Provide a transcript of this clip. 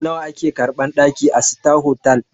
Nawa a ke karɓan ɗaki a sita hotal?